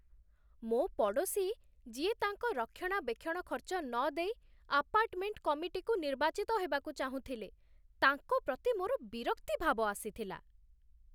ମୋ ପଡ଼ୋଶୀ, ଯିଏ ତାଙ୍କ ରକ୍ଷଣାବେକ୍ଷଣ ଖର୍ଚ୍ଚ ନଦେଇ ଆପାର୍ଟମେଣ୍ଟ କମିଟିକୁ ନିର୍ବାଚିତ ହେବାକୁ ଚାହୁଁଥିଲେ, ତାଙ୍କ ପ୍ରତି ମୋର ବିରକ୍ତି ଭାବ ଆସିଥିଲା।